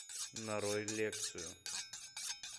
нарой лекцию